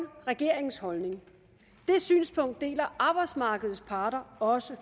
regeringens holdning det synspunkt deler arbejdsmarkedets parter også